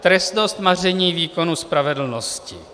Trestnost maření výkonu spravedlnosti.